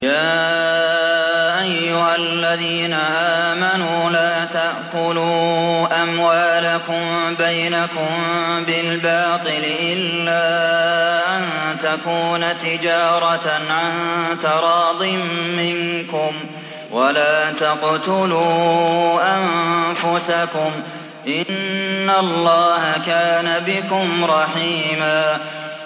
يَا أَيُّهَا الَّذِينَ آمَنُوا لَا تَأْكُلُوا أَمْوَالَكُم بَيْنَكُم بِالْبَاطِلِ إِلَّا أَن تَكُونَ تِجَارَةً عَن تَرَاضٍ مِّنكُمْ ۚ وَلَا تَقْتُلُوا أَنفُسَكُمْ ۚ إِنَّ اللَّهَ كَانَ بِكُمْ رَحِيمًا